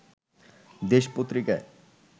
দেশ পত্রিকায়